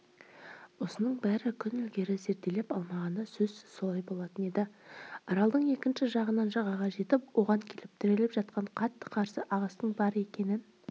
осының бәрін күн ілгері зерделеп алмағанда сөзсіз солай болатын еді аралдың екінші жағынан жағаға жетіп оған келіп тіреліп жатқан қатты қарсы ағыстың бар екенін